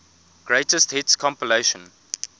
greatest hits compilation